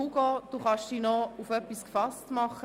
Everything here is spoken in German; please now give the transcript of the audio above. Hugo Kummer kann sich noch auf etwas gefasst machen;